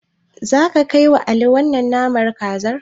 Zaka kaiwa Ali wannan naman kazar?